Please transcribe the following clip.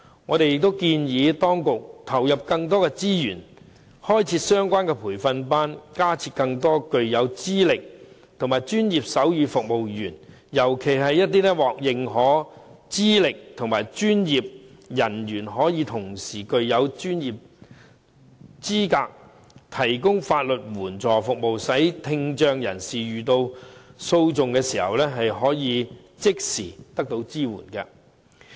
我們建議當局投入更多資源，開設相關的培訓班，增加更多具有資歷的專業手語傳譯員，尤其是一些獲認可資歷的專業人員可以同時具有資格提供法律援助服務，使聽障人士遇到訴訟時，可即時獲得支援。